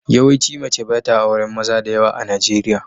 Yawaici mace ba ta auren maza da yawa a Najeriya.